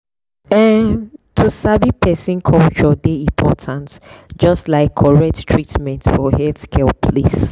ehn to sabi person culture dey important just like correct treatment for healthcare place.